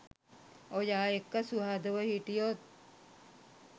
ඔයා එක්ක සුහදව හිටියොත්